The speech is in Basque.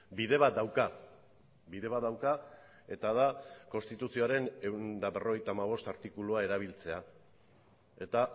bide bat dauka bide bat dauka eta da konstituzioaren ehun eta berrogeita hamabost artikulua erabiltzea eta